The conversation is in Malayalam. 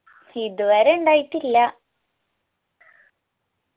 ഇതുവരെ ഇണ്ടായിറ്റില്ല